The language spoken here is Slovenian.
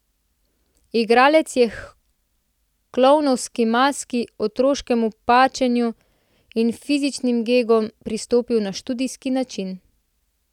Igralec je h klovnovski maski, otroškemu pačenju in fizičnim gegom pristopal na študijski način.